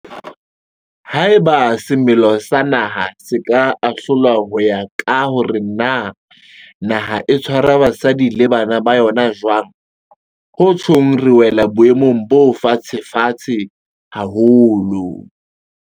Haeba semelo sa naha se ka ahlolwa ho ya ka hore na naha e tshwara basadi le bana ba yona jwang, ho tjhong re wela boemong bo fatshefatshe haholo.